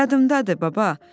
Yadımdadır, baba.